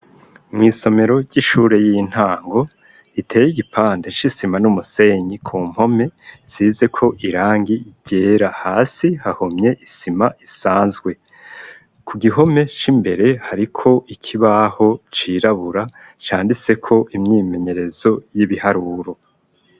mw,isomero ry'ishure y'intango iteye igipande c,isima n'umusenyi ku mpome zisize ko irangi ryera hasi hahomye isima isanzwe ku gihome c'imbere hariko ikibaho cirabura candise ko imyimenyerezo y'ibiharuro